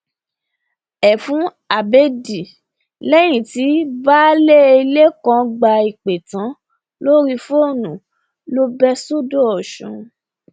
ẹfun abẹẹdì lẹyìn tí baálé ilé kan gba ìpè tán lórí fóònù ló bẹ sọdọ ọsùn